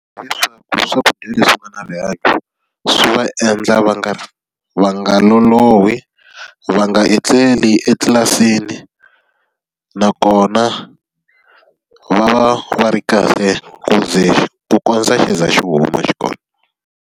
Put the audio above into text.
Hileswaku swakudya leswi nga na rihanyo, swi va endla va nga va nga lolohi, va nga etleli etlilasini, nakona va va va ri kahle ku ze ku kondza xi za xi huma xikolo.